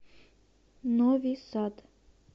нови сад